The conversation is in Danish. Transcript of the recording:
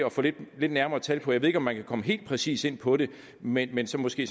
at få lidt nærmere tal på jeg ved ikke om man kan komme helt præcis ind på det men men så måske